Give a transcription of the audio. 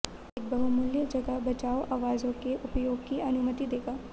एक बहुमूल्य जगह बचाओ आवाजों के उपयोग की अनुमति देगा